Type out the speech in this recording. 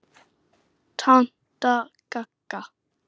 Tanta Gagga.